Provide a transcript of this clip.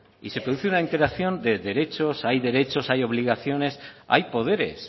y se produce una interacción de derechos hay derechos hay obligaciones hay poderes